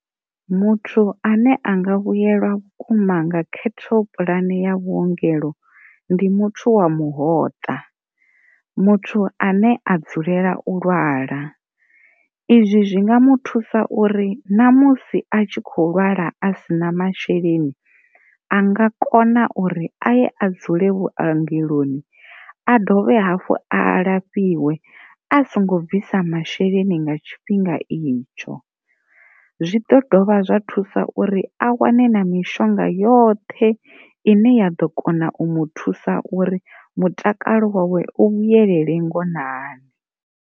Muthu ane a nga vhuyelwa vhukuma nga khethopulani ya vhuongelo ndi muthu wa muhoṱa muthu ane a dzulela u lwala izwi zwi nga mu thusa uri na musi a tshi kho lwala a si na masheleni a nga kona uri a ye a dzule vhuangaloni a dovhe hafhu a lafhiwe a songo bvisa masheleni nga tshifhinga itsho, zwi ḓo dovha zwa thusa uri a wane na mishonga yoṱhe ine ya ḓo kona u mu thusa uri mutakalo wawe u vhuyelele ngonani.